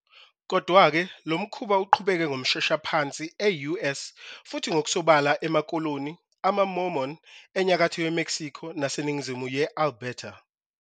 Kodwa-ke, lo mkhuba uqhubeke ngomshoshaphansi e-US futhi ngokusobala emakoloni amaMormon enyakatho yeMexico naseningizimu ye- Alberta.